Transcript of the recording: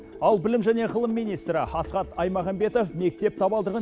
ал білім және ғылым министрі асхат аймағамбетов мектеп табалдырығын